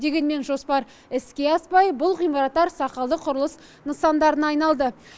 дегенмен жоспар іске аспай бұл ғимараттар сақалды құрылыс нысандарына айналды